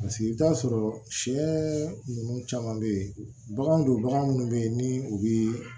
Paseke i bɛ t'a sɔrɔ sɛ ninnu caman bɛ yen baganw don bagan minnu bɛ yen ni u bɛ